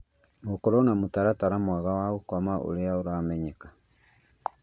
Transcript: Gũkorũo na mũtaratara mwega wa gũkoma ũrĩa ũramenyeka